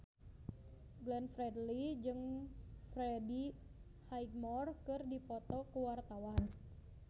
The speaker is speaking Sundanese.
Glenn Fredly jeung Freddie Highmore keur dipoto ku wartawan